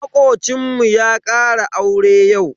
Yaran kishiyoyin suna da hadin kai.